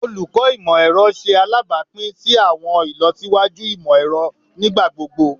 Olukọ Imọ-ẹrọ ṣe alabapin si awọn ilọsiwaju imọ-ẹrọ nigbagbogbo